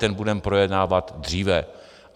Ten budeme projednávat dříve.